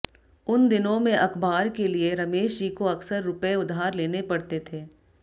उन दिनों में अखबार के लिए रमेश जी को अक्सर रुपये उधार लेने पड़ते थे